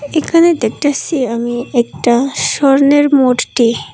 এখানে দেখতেসি আমি একটা স্বর্ণের মূর্তি।